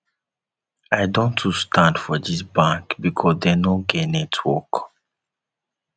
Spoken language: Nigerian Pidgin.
i don too stand for dis bank because dem no get network